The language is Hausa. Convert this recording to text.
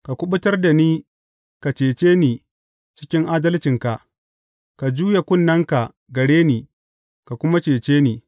Ka kuɓutar da ni ka cece ni cikin adalcinka; ka juya kunnenka gare ni ka kuma cece ni.